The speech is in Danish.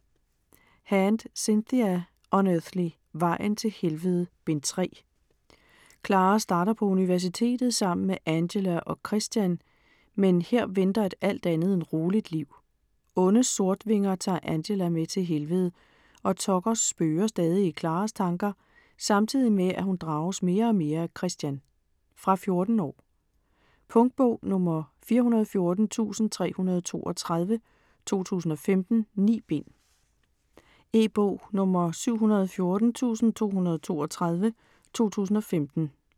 Hand, Cynthia: Unearthly: Vejen til helvede: Bind 3 Clara starter på universitetet sammen med Angela og Christian, men her venter et alt andet end roligt liv. Onde Sortvinger tager Angela med til Helvede, og Tucker spøger stadig i Claras tanker, samtidig med at hun drages mere og mere af Christian. Fra 14 år. Punktbog 414332 2015. 9 bind. E-bog 714232 2015.